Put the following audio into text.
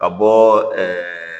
Ka bɔ ɛɛ